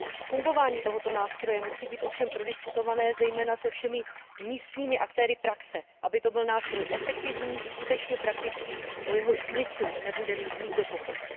Fungování tohoto nástroje musí být ovšem prodiskutované zejména se všemi místními aktéry praxe, aby to byl nástroj efektivní, skutečně praktický, o jehož smyslu nebude mít nikdo pochyb.